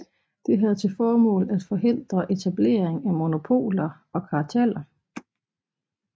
Det havde til formål at forhindre etablering af monopoler og karteller